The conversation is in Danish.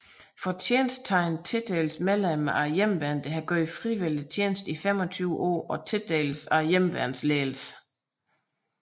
Fortjensttegnet tildeles medlemmer af Hjemmeværnet der har gjort frivillig tjeneste i 25 år og tildeles af Hjemmeværnsledelsen